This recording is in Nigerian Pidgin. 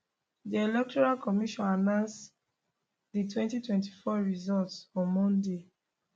di electoral commission announce di 2024 results on monday